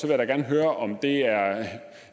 jeg da gerne høre om der er